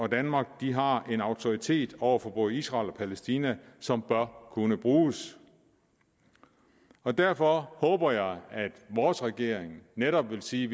og danmark har en autoritet over for både israel og palæstina som bør kunne bruges derfor håber jeg at vores regering netop vil sige